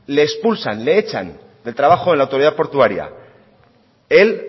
le expulsan le echan del trabajo de la autoridad portuaria él